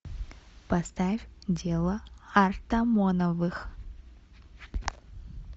поставь дело артамоновых